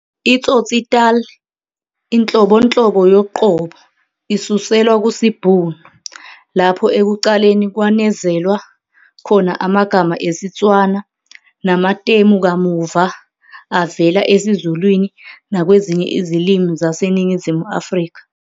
I-Tsotsitaal, inhlobonhlobo yoqobo, isuselwa kusiBhunu, lapho ekuqaleni kwanezelwa khona amagama esiTswana, namatemu kamuva avela esiZulwini nakwezinye izilimi zaseNingizimu Afrika.